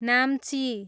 Namchi